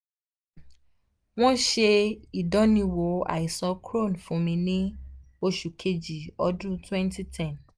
wọ́n ṣe ìdániwò àìsàn crohn fún mi ní oṣù kejì ọdún wenty ten